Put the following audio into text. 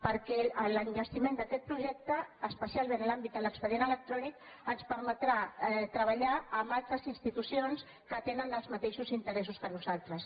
perquè l’enllestiment d’aquest projecte espe·cialment en l’àmbit de l’expedient electrònic ens per·metrà treballar amb altres institucions que tenen els mateixos interessos que nosaltres